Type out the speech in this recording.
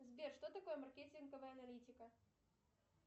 сбер что такое маркетинговая аналитика